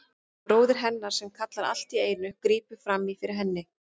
Það er bróðir hennar sem kallar allt í einu, grípur fram í fyrir henni.